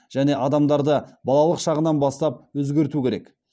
және адамдарды балалық шағынан бастап өзгерту керек